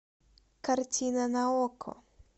картина на окко